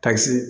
Kasi